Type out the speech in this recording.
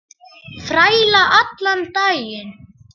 Þræla allan daginn!